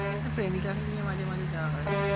হ্যাঁ প্রেমিকাকে নিয়ে মাঝে মাঝে যাওয়া হয়।